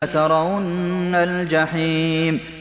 لَتَرَوُنَّ الْجَحِيمَ